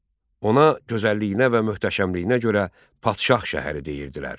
Ona gözəlliyinə və möhtəşəmliyinə görə padşah şəhəri deyirdilər.